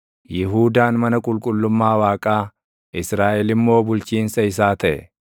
Yihuudaan mana qulqullummaa Waaqaa, Israaʼel immoo bulchiinsa isaa taʼe.